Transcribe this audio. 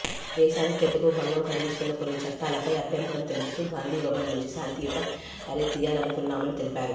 దేశ ఐక్యతకు భంగం కలిగిస్తున్న కొన్ని చట్టాలపై అభ్యంతరం తెలుపుతూ గాంధీభవన్ నుంచి శాంతియుత ర్యాలీ తీయాలనుకున్నామని తెలిపారు